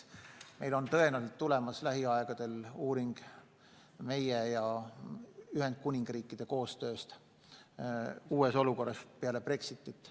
Tõenäoliselt tuleb lähiajal uuring meie ja Ühendkuningriigi koostööst uues olukorras peale Brexitit.